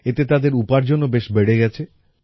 এতে তাদের উপার্জনও বেশ বেড়ে গেছে